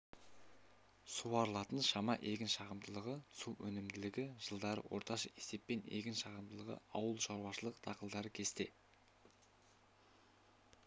суарылатын шама егін шығымдылығы су өнімділігі жылдары орташа есеппен егін шығымдылығы ауыл шаруашылық дақылдары кесте